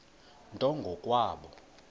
nto ngo kwabo